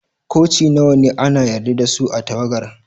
Koci nawa ne ana yarda da su a'tagawar?